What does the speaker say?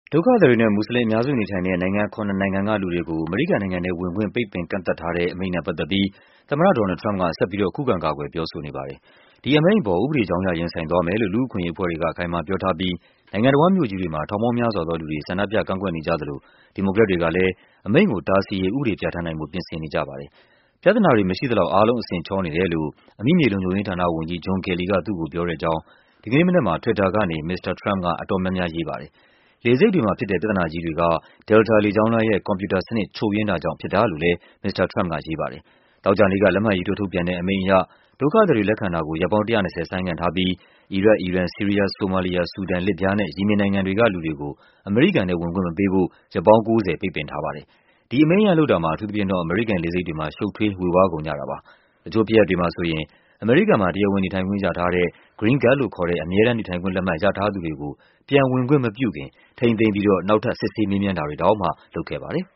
ဒုက္ခသည်တွေနဲ့ မွတ်ဆလင်အများစုနေထိုင်တဲ့ နိုင်ငံခုနစ်နိုင်ငံကလူတွေကို အမေရိကန်နိုင်ငံထဲဝင်ခွင့် ပိတ်ပင်ကန့်သတ်ထားတဲ့ အမိန့်နဲ့ပတ်သက်ပြီး သမ္မတ Donald Trump က ဆက်ပြီးတော့ ခုခံကာကွယ် ပြောဆိုနေပါတယ်။ ဒီအမိန့်အပေါ် ဥပဒေကြောင်း အရ ရင်ဆိုင်သွားမယ်လို့ လူ့အခွင့်အရေးအဖွဲ့တွေက အခိုင်အမာပြောထားပြီး နိုင်ငံတဝန်းမြို့ကြီးတွေမှာ ထောင်ပေါင်းများစွာ သောလူတွေ ဆန္ဒပြကန့်ကွက်နေကြသလို ဒီမိုကရက်တွေကလဲ အမိန့်ကိုတားဆီးရေး ဥပဒေပြဌာန်းနိုင်ဖို့ ပြင်ဆင်နေကြပါတယ်။ ပြဿနာတွေမရှိသလောက် အားလုံးအဆင်ချောနေတယ်လို့ အမိမြေလုံခြုံရေးဌာနဝန်ကြီး John Kelly က သူ့ကိုပြောတယ်လို့ ဒီကနေ့မနက်မှာ Twitter ကနေ မစ္စတာ Trump က အတော်များများ ရေးထားပါတယ်။ လေဆိပ်တွေမှာဖြစ်တဲ့ ပြဿနာကြီးတွေ က Delta လေကြောင်းလိုင်းရဲ့ ကွန်ပြူတာစနစ် ချို့ယွင်းတာကြောင့် ဖြစ်တာလို့လဲ မစ္စတာ Trump ကရေးပါတယ်။ သောကြာနေ့က လက်မှတ်ရေးထိုးထုတ်ပြန်တဲ့ အမိန့်အရ ဒုက္ခသည်တွေလက်ခံတာကို ရက်ပေါင်း ၁၂၀ ဆိုင်းငံ့ထားပြီး အီရတ်၊ အီရန်၊ ဆီးရီးယား၊ ဆိုမာလီယာ၊ ဆူဒန်၊ လစ်ဗျားနဲ့ ယီမင်နိုင်ငံတွေက လူတွေကို အမေရိကန်ထဲဝင်ခွင့်မပေးဖို့ ရက်ပေါင်း ၉၀ ပိတ်ပင်ထားပါတယ်။ ဒီအမိန့်အရလုပ်တာမှာ အထူးသဖြင့်တော့ အမေရိကန်လေဆိပ်တွေမှာ ရှုပ်ထွေးေ၀ဝါးကုန်ကြပါတယ်။ တချို့ဖြစ်ရပ်တွေမှာဆိုရင် အမေရိကန်မှာ တရားဝင်နေထိုင်ခွင့်ရထားတဲ့ Green Card လို့ခေါ်တဲ့ အမြဲတမ်းနေထိုင်ခွင့်လက်မှတ် ရထားသူတွေကို ပြန်ဝင်ခွင့် မပြုခင် ထိန်းသိမ်းပြီးတော့ နောက်ထပ် စစ်ဆေးမေးမြန်းတာတွေ တောင်မှ လုပ်ခဲ့ပါတယ်